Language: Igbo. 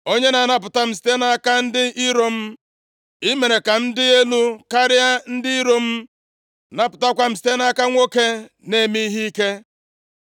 Onye na-anapụta m site nʼaka ndị iro m. I mere ka m dị elu karịa ndị iro m. Napụtakwa m site nʼaka nwoke na-eme ihe ike.